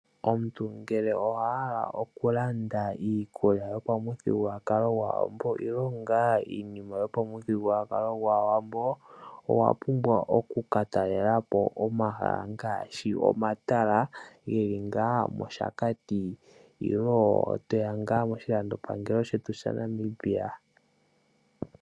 Omuntu ngele owahala oku landa iikulya yopamuthigululwakalo gwAawambo nenge wahala oku landa iinima yomuthigululwakalo gwaawambo owa pumbwa oku ka talela po omahala ngaashi omatala geli nga moOshakati nenge toya moshilandopangelo shetu shaNamibia.